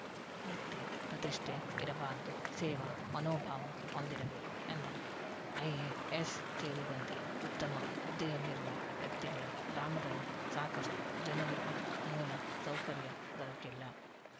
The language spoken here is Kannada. ವ್ಯಕ್ತಿ ಪ್ರತಿಷ್ಠೆ ಇರಬಾರದು ಸೇವಾ ಮನೋಭಾವ ಹೊಂದಿರಬೇಕು ಎಂದರು ಐಎಎಸ್‌ ಸೇರಿದಂತೆ ಉತ್ತಮ ಹುದ್ದೆಯಲ್ಲಿರುವ ವ್ಯಕ್ತಿಗಳ ಗ್ರಾಮದಲ್ಲಿ ಸಾಕಷ್ಟುಜನರಿಗೆ ಮೂಲ ಸೌಕರ್ಯ ದೊರಕಿಲ್ಲ